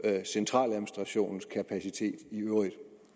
centraladministrationens kapacitet i øvrigt